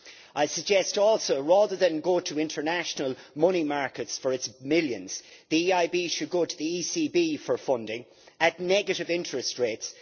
I suggest also, rather than go to international money markets for its millions, the EIB should go to the ECB for funding at negative interest rates.